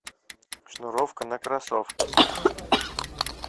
шнуровка на кроссовках